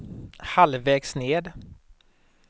halvvägs ned